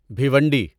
Bhiwandi